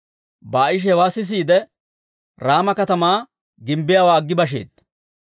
Baa'ishi hewaa sisiide, Raama katamaa gimbbiyaawaa aggi basheedda.